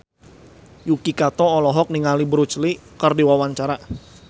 Yuki Kato olohok ningali Bruce Lee keur diwawancara